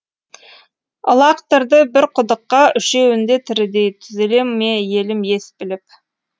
ылақтырды бір құдыққа үшеуінде тірідей түзеле ме елім ес біліп